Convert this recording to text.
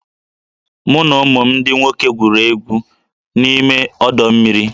Mụ na ụmụ m ndị nwoke gwuriri egwu n'ime ọdọ mmiri